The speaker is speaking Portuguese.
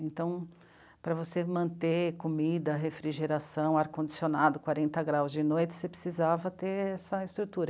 Então, para você manter comida, refrigeração, ar-condicionado, quarenta graus de noite, você precisava ter essa estrutura.